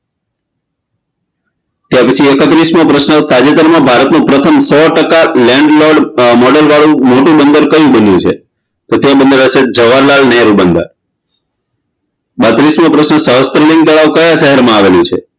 ત્યાર પછી એકત્રીસમો પ્રશ્ન તાજેતરમાં ભારતમાં પ્રથમ સો ટકા landlord model વાળું મોટું બંદર કયું બન્યું છે તે બંદર હશે જવાહરલાલ નેહરુ બંદર બત્રીસમો પ્રશ્ન સહસ્ત્રલિંગ તળાવ કયા શહેરમાં આવેલી છે